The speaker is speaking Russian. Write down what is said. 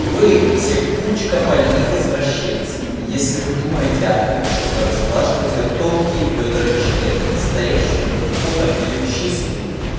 вы все кучка больных извращенцев если вы думаете о том чтобы разглаживать её тонкие бедра членом стоящим у входа в её чистую